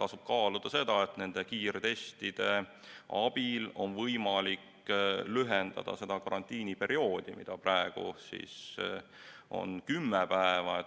tasub kaaluda ka seda, et kiirtestide abil lühendada karantiiniperioodi, mis praegu on kümme päeva.